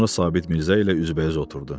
Sonra Sabit Mirzə ilə üzbəüz oturdu.